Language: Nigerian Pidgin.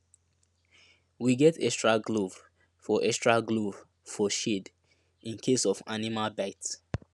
we get extra glove for extra glove for shed in case of animal bite